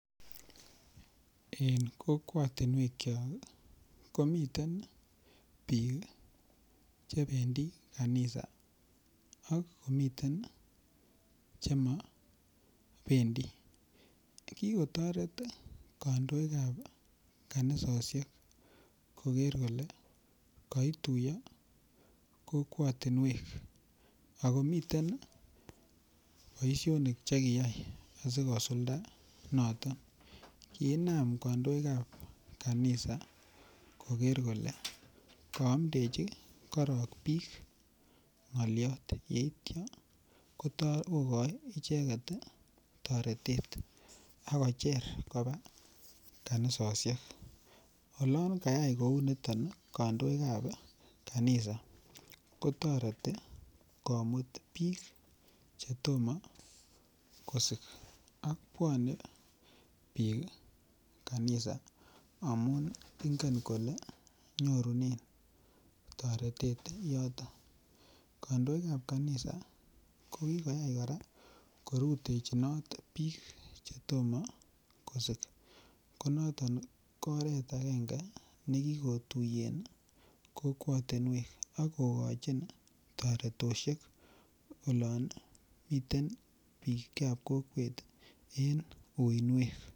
En kokwatinwekyok komiten biik chebendi kanisa ak komiten chemobendii kikotoret kandoikab kanisosiek koker kole koituiyo kokwotinwek akomiten boisionik chekiyai asikosulda noton kiinam kandoikab kanisa koker kole kaamndechi biik korong ng'oliot, yeitia kotoi kokochi icheket ii toretet akocher kopaa kanisosiek olan kayai kounitet kandoikab kanisa kotoreti komut biik chetomo kosik ak bwone biik kanisa amun ingen kole nyorunen toretet yoton kandoikab kanisa kokikyai kora korutechinot biik chetomo kosik konoto ko oret akenge nekikotuiyen kokwotinwek ako kochin toretoshek olon miten biikab kokwet en uinwek.